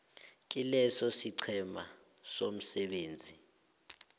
kileso isiqhema somsebenzi